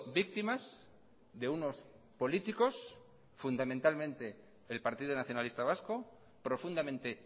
víctimas de unos políticos fundamentalmente el partido nacionalista vasco profundamente